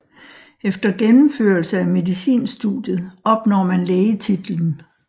Efter gennemførelse af medicinstudiet opnår man lægetitlen